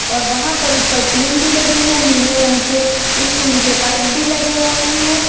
और वहां पर ऊपर टीन भी लगी है। नीले रंग के स्टील के पाइप भी लगे हुए हैं।